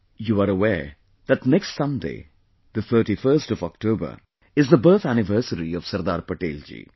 you are aware that next Sunday, the 31st of October is the birth anniversary of Sardar Patel ji